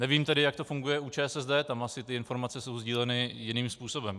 Nevím tedy, jak to funguje u ČSSD, tam asi ty informace jsou sdíleny jiným způsobem.